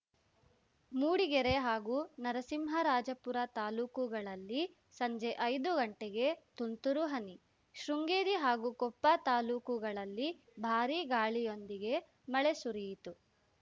ಮೂಡಿಗೆರೆ ಹಾಗೂ ನರಸಿಂಹರಾಜಪುರ ತಾಲೂಕುಗಳಲ್ಲಿ ಸಂಜೆ ಐದು ಗಂಟೆಗೆ ತುಂತುರು ಹನಿ ಶೃಂಗೇರಿ ಹಾಗೂ ಕೊಪ್ಪ ತಾಲೂಕುಗಳಲ್ಲಿ ಭಾರೀ ಗಾಳಿಯೊಂದಿಗೆ ಮಳೆ ಸುರಿಯಿತು